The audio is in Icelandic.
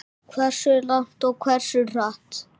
Hversu langt og hversu hratt.